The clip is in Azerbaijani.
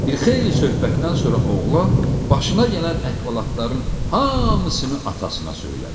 Bir xeyli söhbətdən sonra oğlan başına gələn əhvalatların hamısını atasına söylədi.